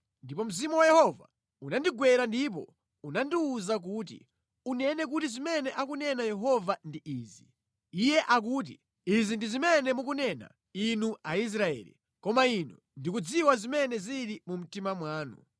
Ndipo Mzimu wa Yehova unandigwera ndipo unandiwuza kuti, “Unene kuti zimene akunena Yehova ndi izi. Iye akuti. ‘Izi ndi zimene mukunena, Inu Aisraeli, koma Ine ndikudziwa zimene zili mu mtima mwanu.’